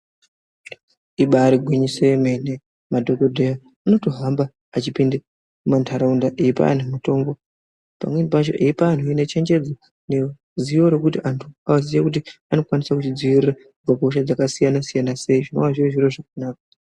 Ibaari gwinyiso yemene madhogodheya anotohamba achipinde mumantaraunda eipa antu mitombo. Pamweni pacho eipa antuhe nechenjedzo neruzivo rwekuti anhu aziye kuti anokwanisa kuzvidzivirira kubva kuhosha dzakasiyana-siyana sei zvinova zviri zviro zvakanaka.